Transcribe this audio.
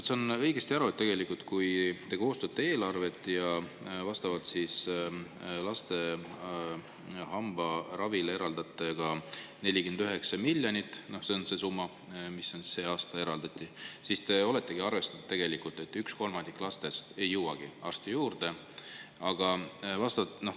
Kas ma saan õigesti aru, et kui te koostate eelarvet ja laste hambaravile eraldate vastavalt 49 miljonit – see on see summa, mis sel aastal eraldati –, siis te oletegi arvestanud sellega, et üks kolmandik lastest ei jõua arsti juurde?